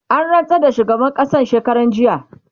an rantsar da shugaban ƙasan shekaran jiya